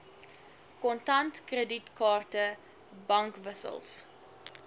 kontant kredietkaarte bankwissels